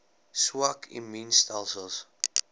swak immuun stelsels